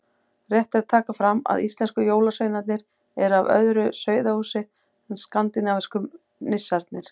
Rétt er að taka fram að íslensku jólasveinarnir eru af öðru sauðahúsi en skandinavísku nissarnir.